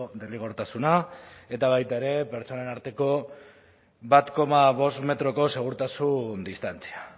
derrigortasuna eta baita ere pertsonen arteko bat koma bost metroko segurtasun distantzia